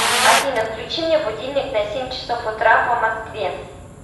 афина включи мне будильник на семь часов утра по москве